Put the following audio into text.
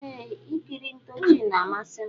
Eeh ikiri ntoochi na amasim.